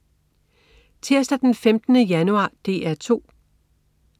Tirsdag den 15. januar - DR 2: